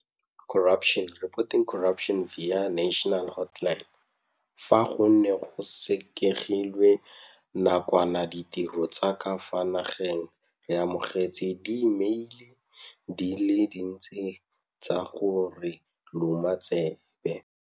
Fa go ne go sekegilwe na kwana ditiro tsa ka fa nageng re amogetse diimeile di le dintsi tsa go re loma tsebe.